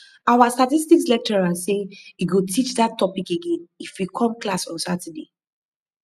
our statistics lecturer say he go teach dat topic again if we come class on saturday